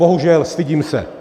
Bohužel, stydím se!